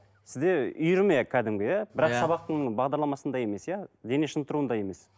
сізде үйірме кәдімгі иә бірақ сабақтың бағдарламасындай емес иә дене шынықтыруындай емес